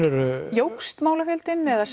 jókst málafjöldinn eða